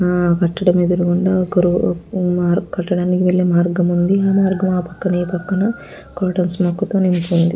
ఆ కట్టడం ఎదురు వెళ్ళే మార్గం ఉంది ఆ మార్గం పక్కన కూయరటర్స్ అని ఉంది.